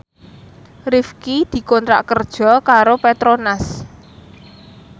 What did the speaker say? Rifqi dikontrak kerja karo Petronas